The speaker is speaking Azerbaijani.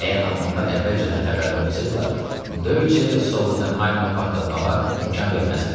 Əgər almanlar əvvəlcədən xəbərdar olsaydılar, döyüşü soldatenhaymı partlatmağa imkan verməzdilər.